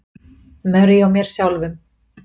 Marie og mér sjálfum.